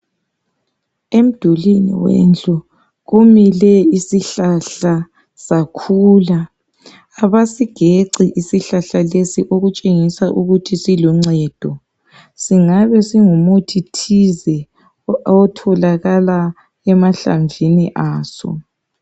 Emdulwini wendlu kumile isihlahla sakhula. Abasigeci isihlahla lesi okutshengisa ukuthi siluncedo. Singabe singumuthi thize otholakala emahlamvini aso.